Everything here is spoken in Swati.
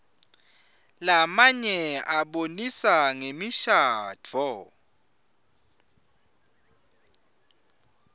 lamnye abonisa ngemishadvo